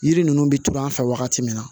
Yiri ninnu bɛ turu an fɛ wagati min na